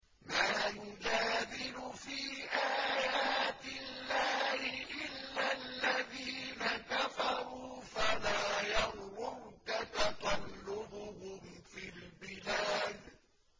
مَا يُجَادِلُ فِي آيَاتِ اللَّهِ إِلَّا الَّذِينَ كَفَرُوا فَلَا يَغْرُرْكَ تَقَلُّبُهُمْ فِي الْبِلَادِ